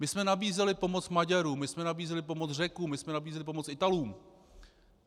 My jsme nabízeli pomoc Maďarům, my jsme nabízeli pomoc Řekům, my jsme nabízeli pomoc Italům.